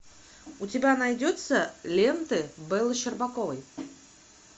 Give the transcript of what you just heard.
у тебя найдется ленты беллы щербаковой